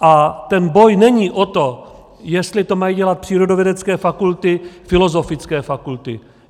A ten boj není o to, jestli to mají dělat přírodovědecké fakulty, filozofické fakulty.